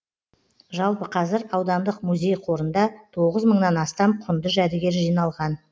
жалпы қазір аудандық музей қорында тоғыз мыңнан астам құнды жәдігер жиналған